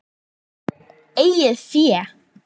Eigið fé